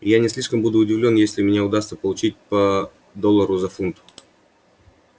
и я не слишком буду удивлён если мне удастся получить по доллару за фунт